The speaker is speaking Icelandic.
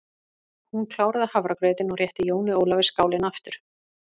Hún kláraði hafragrautinn og rétti Jóni Ólafi skálina aftur.